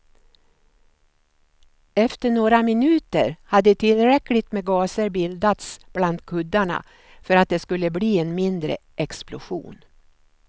Efter några minuter hade tillräckligt med gaser bildats bland kuddarna för att det skulle bli en mindre explosion.